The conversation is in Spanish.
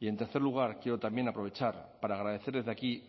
y en tercer lugar quiero también aprovechar para agradecer desde aquí